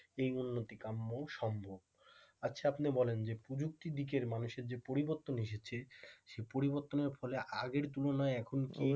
এই উন্নতি কাম্য সম্ভব আচ্ছা আপনি বলেন প্রযুক্তিদিকের মানুষের যে পরিবর্তন এসেছ সেই পরিবর্তনের ফলে আগের তুলনায় এখন কি